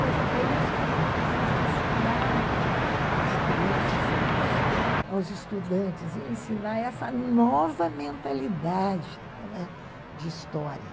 Mas é isso que a gente precisa ensinar às às crianças, aos estudantes, ensinar essa nova mentalidade, não é? de história.